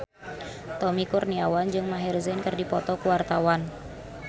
Tommy Kurniawan jeung Maher Zein keur dipoto ku wartawan